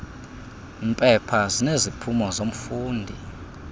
mpepha zineziphumo zomfundi